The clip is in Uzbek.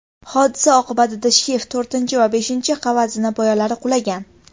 Hodisa oqibatida shift, to‘rtinchi va beshinchi qavat zinapoyalari qulagan.